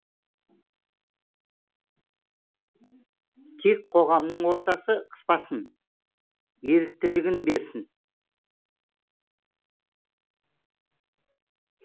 тек қоғамның ортасы қыспасын еріктілігін берсін